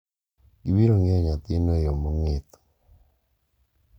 Gibiro ng'iyo nyathino e yo mong'ith.